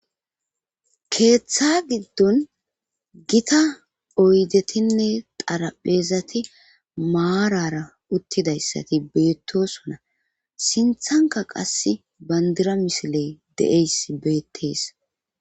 keeththa giddon gita oydetinne xarapheezati maarara uttidayssati beettosona sinthanka qas bandira misiley de7eys beettees